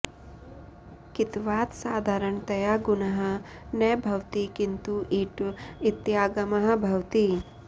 कित्वात् साधारणतया गुणः न भवति किन्तु इट् इत्यागमः भवति